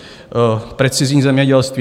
Precizní zemědělství.